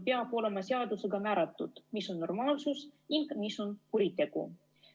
Peab olema seadusega määratud, mis on normaalsus ning mis on kuritegu.